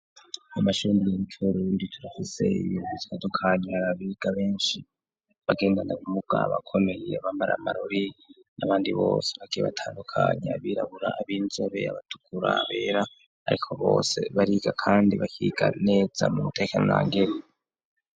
Amashiniyimcuro yundikira hoseyiizandukanya arabiga benshi bagendana kumugabakomeye bamara marori n'abandi bose bakibatandukanyi abirabura abinjebe abatukurabera, ariko bose bariga, kandi bakiganeza mu ntekanangere.